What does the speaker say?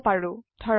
দেখিব পাৰো